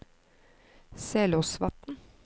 Selåsvatn